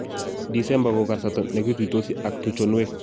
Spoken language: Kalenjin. Disemba ko kasarta ne kituisoti ak tuchonwek